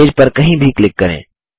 page पर कहीं भी क्लिक करें